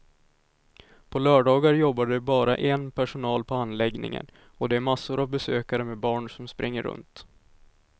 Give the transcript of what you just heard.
På lördagar jobbar det bara en personal på anläggningen och det är massor av besökare med barn som springer runt.